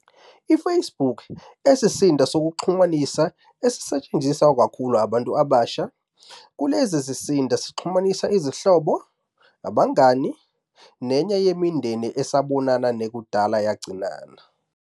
IFacebook isizinda sokuxhumana esisetshenziswa kakhulukazi abantu abasha. Kulesi sizinda sixhumanisa izihlobo, abangani, nanye nemindeni esabonana nekudala yagcinana.